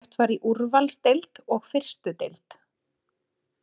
Keppt var í Úrvalsdeild og fyrstudeild.